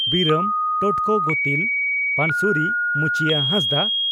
ᱵᱤᱨᱟᱹᱢ (ᱴᱚᱴᱠᱚ ᱜᱚᱛᱤᱞ) ᱯᱟᱱᱥᱩᱨᱤ (ᱢᱩᱪᱤᱭᱟᱹ ᱦᱟᱸᱥᱫᱟ)